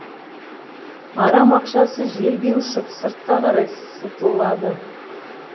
арам ақшасы желге ұшып сыртқа қарай сытылады